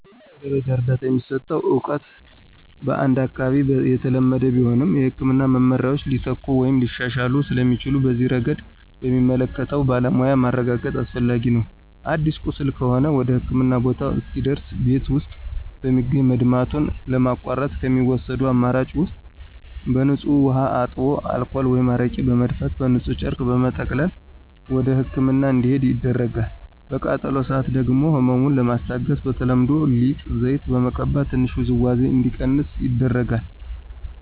የመጀመሪያ ደረጃ እርዳታ የሚሰጠው እውቀት በአንድ አካባቢ የተለመደ ቢሆንም፣ የሕክምና መመሪያዎች ሊተኩ ወይም ሊሻሻሉ ስለሚችሉ በዚህ ረገድ በሚመለከተው ባለሙያ ማረጋገጥ አስፈላጊ ነው። አዲስ ቁስል ከሆነ ወደህክምና ቦታ እስኪደርስ ቤት ውስጥ በሚገኝ መድማቱን ለማቋረጥ ከሚወሰዱ አማራጭ ውስጥ በንፁህ ውሃ አጥቦ አልኮል ወይም አረቄ በመድፋት በንፁህ ጨርቅ በመጠቅለል ወደህክምና እንዲሄድ ይደረጋል። በቃጠሎ ሰአት ደግሞ ህመሙን ለማስታገስ በተለምዶ ሊጥ፣ ዘይት በመቀባት ትንሽ ውዝዋዜው እንዲቀንስ ይደረጋል።